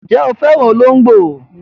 Ǹjẹ́ o fẹ́ràn olóńgbò?